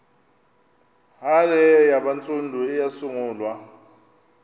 hare yabantsundu eyasungulwa